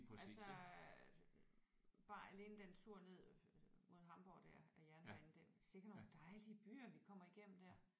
Altså bare alene den tur ned mod Hamborg der ad jernbanen det sikke nogle dejlige byer vi kommer igennem der